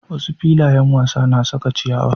Wasu filayen wasa na saka ciyawa.